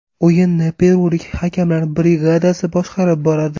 O‘yinni perulik hakamlar brigadasi boshqarib boradi .